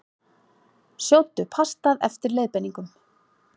Sjóddu pastað eftir leiðbeiningum.